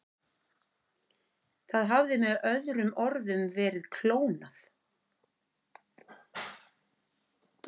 Það hafði með öðrum orðum verið klónað.